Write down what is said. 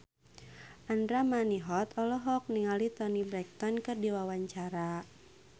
Andra Manihot olohok ningali Toni Brexton keur diwawancara